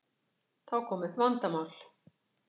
Þá kom upp vandamál.